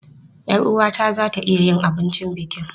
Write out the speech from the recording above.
Yar uwata za ta iya yin abincin bukin.